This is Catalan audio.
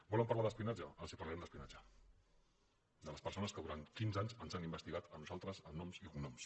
volen parlar d’espionatge els parlarem d’espionatge de les persones que durant quinze anys ens han investigat a nosaltres amb noms i cognoms